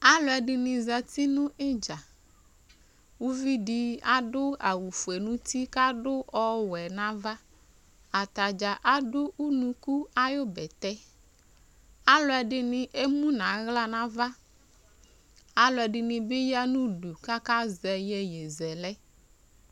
Alʋɛdɩnɩ zati nʋ ɩdza Uvi dɩ adʋ awʋfue nʋ uti kʋ adʋ ɔwɛ nʋ ava Ata dza adʋ unuku ayʋ bɛtɛ Alʋɛdɩnɩ emu nʋ aɣla nʋ ava Alʋɛdɩnɩ bɩ ya nʋ udu kʋ akazɛ iyeyezɛlɛ